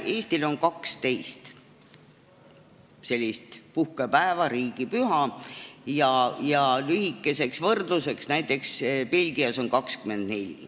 Eestil on 12 sellist puhkepäeva, riigipüha, ja lühikeseks võrdluseks ütlen, et näiteks Belgias on 24.